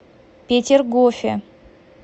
петергофе